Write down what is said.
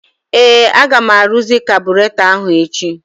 Ee! Aga m arụzị kabụratọ ahụ echi.